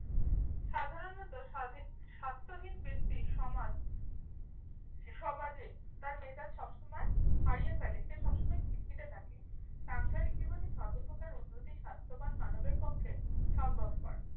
সাধারণত স্বাধী~ স্বাস্থ্যহীন ব্যক্তি সমাজ সমাজে তার মেজাজ সবসময় হারিয়ে ফেলে। সে সবসময় খিটখিটে থাকে। সাংসারিক জীবনে সর্বপ্রকার উন্নতি স্বাস্থ্যবান মানবের পক্ষে সম্ভবপর।